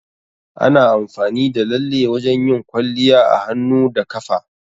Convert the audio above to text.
Ana amfani da lalle wajan yin kwalliya a hannu da kafa